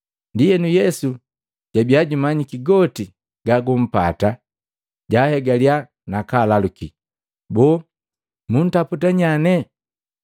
Ndienu Yesu jojabia jumanyiki goti gagampata jaahegaliya nakaalaluki, “Boo muntaputa nyanee?”